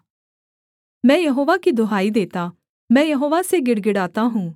मैं यहोवा की दुहाई देता मैं यहोवा से गिड़गिड़ाता हूँ